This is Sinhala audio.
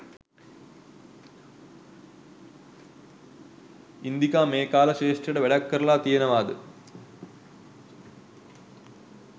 ඉන්දිකා මේ කලා ක්ෂේත්‍රයට වැඩක් කරලා තියෙනවාද?